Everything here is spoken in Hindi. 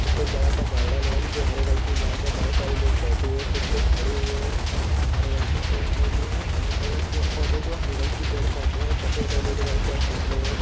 यहाँ पे एक बड़ा सा गार्डन है जो हरे रंग की घास है बहुत सारे लोग बैठे हुए है कुछ लोग खड़े हुए है हरे रंग के पेड़ पौधे है अगल बगल पेड़ पौधे जो हरे रंग के पेड़ पौधे है सफ़ेद और नीले रंग के आश्माने है।